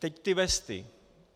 Teď ty vesty.